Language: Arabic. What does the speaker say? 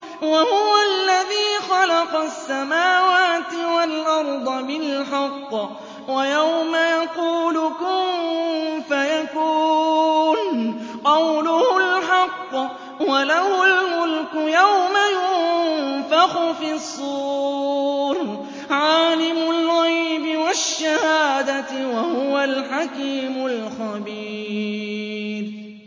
وَهُوَ الَّذِي خَلَقَ السَّمَاوَاتِ وَالْأَرْضَ بِالْحَقِّ ۖ وَيَوْمَ يَقُولُ كُن فَيَكُونُ ۚ قَوْلُهُ الْحَقُّ ۚ وَلَهُ الْمُلْكُ يَوْمَ يُنفَخُ فِي الصُّورِ ۚ عَالِمُ الْغَيْبِ وَالشَّهَادَةِ ۚ وَهُوَ الْحَكِيمُ الْخَبِيرُ